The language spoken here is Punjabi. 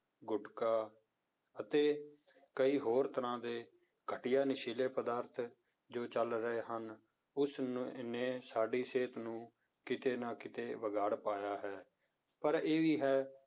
ਗੁਟਕਾ ਅਤੇ ਕਈ ਹੋਰ ਤਰ੍ਹਾਂ ਦੇ ਘਟੀਆ ਨਸ਼ੀਲੇ ਪਦਾਰਥ ਜੋ ਚੱਲ ਰਹੇ ਹਨ, ਉਸਨੇ ਇੰਨੇ ਸਾਡੀ ਸਿਹਤ ਨੂੰ ਕਿਤੇ ਨਾ ਕਿਤੇ ਵਿਗਾੜ ਪਾਇਆ ਹੈ, ਪਰ ਇਹ ਵੀ ਹੈ